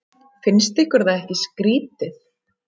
Finnst ykkur það ekki skrýtið?